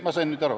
Ma sain nüüd aru.